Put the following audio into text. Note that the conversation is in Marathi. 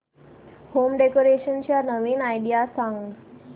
होम डेकोरेशन च्या नवीन आयडीया सांग